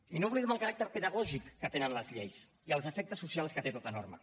i no oblidem el caràcter pedagògic que tenen les lleis i els efectes socials que té tota norma